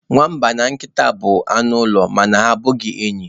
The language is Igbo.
Nwamba na nkịta bụ anụ ụlọ ma ha abụghị enyi.